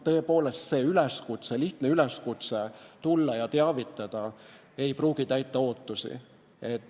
Tõepoolest, lihtne üleskutse tulla ja teavitada ei pruugi täita ootusi.